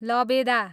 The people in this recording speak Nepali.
लबेदा